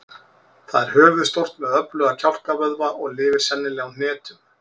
Það er höfuðstórt með öfluga kjálkavöðva og lifir sennilega á hnetum.